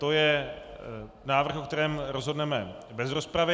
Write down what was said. To je návrh, o kterém rozhodneme bez rozpravy.